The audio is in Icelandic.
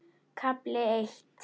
KAFLI EITT